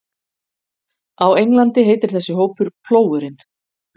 Á Englandi heitir þessi hópur Plógurinn.